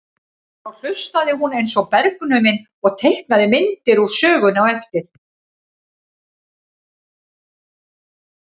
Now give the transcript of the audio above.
Þá hlustaði hún eins og bergnumin og teiknaði myndir úr sögunni á eftir.